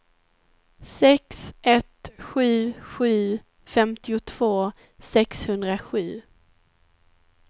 sex ett sju sju femtiotvå sexhundrasju